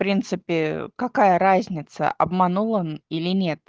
принципе какая разница обманул он или нет